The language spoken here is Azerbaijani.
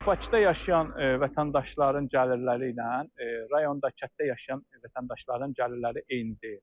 Bakıda yaşayan vətəndaşların gəlirləri ilə rayonda, kənddə yaşayan vətəndaşların gəlirləri eyni deyil.